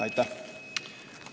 Aitäh!